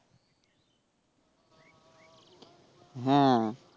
হ্যা